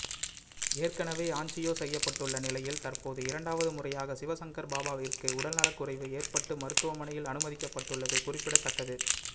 ஏற்கனவே ஆஞ்சியோ செய்யப்பட்டுள்ள நிலையில் தற்போது இரண்டாவது முறையாக சிவசங்கர் பாபாவிற்கு உடல்நலக்குறைவு ஏற்பட்டு மருத்துவமனையில் அனுமதிக்கப்பட்டுள்ளது குறிப்பிடத்தக்கது